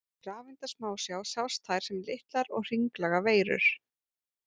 Í rafeindasmásjá sjást þær sem litlar og hringlaga veirur.